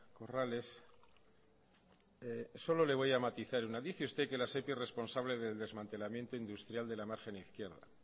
corrales solo le voy a matizar dice usted que la sepi es responsable del desmantelamiento industrial de la margen izquierda